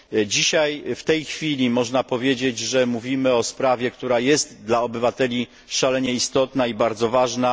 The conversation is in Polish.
Dzisiaj, w tej chwili, można powiedzieć, że mówimy o sprawie, która jest dla obywateli szalenie istotna i bardzo ważna.